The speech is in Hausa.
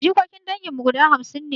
Jikokin dangin mu guda hamsin ne